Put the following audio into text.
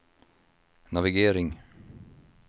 navigering